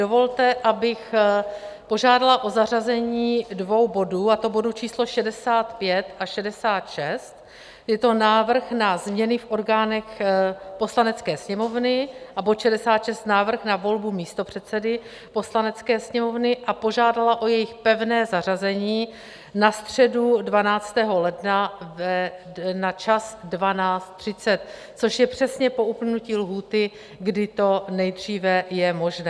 Dovolte, abych požádala o zařazení dvou bodů, a to bodů číslo 65 a 66 - je to Návrh na změny v orgánech Poslanecké sněmovny a bod 66, Návrh na volbu místopředsedy Poslanecké sněmovny - a požádala o jejich pevné zařazení na středu 12. ledna na čas 12.30, což je přesně po uplynutí lhůty, kdy to nejdříve je možné.